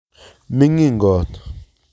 Mingin kot